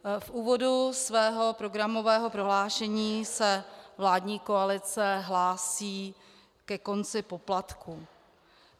V úvodu svého programového prohlášení se vládní koalice hlásí ke konci poplatků.